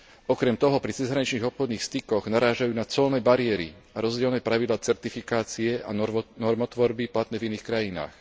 Okrem toho pri cezhraničných obchodných stykoch narážajú na colné bariéry a rozdielne pravidlá certifikácie a normotvorby platné v iných krajinách.